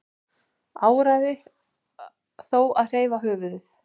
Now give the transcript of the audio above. Áræði þó að hreyfa höfuðið.